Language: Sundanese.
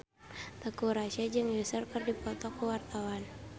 Teuku Rassya jeung Usher keur dipoto ku wartawan